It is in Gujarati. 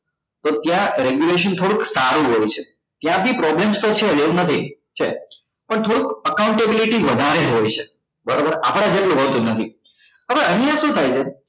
તો ત્યા regulation થોડુંક સારું હોય છે ત્યાં બી problems તો છે જ એવુ નથી છે જ પણ થોડુંક accountability વધારે હોય છે બરાબર આપડા જેટલું હોતું નથી હવે અહીંયા શુ થાય છે